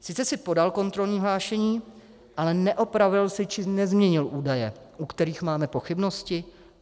Sice jsi podal kontrolní hlášení, ale neopravil jsi či nezměnil údaje, u kterých máme pochybnosti?